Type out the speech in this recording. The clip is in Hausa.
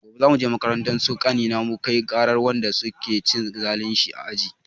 Gobe za muje makarantar su ƙanina mukai ƙarar wanda su ke cin zalin shi a aji.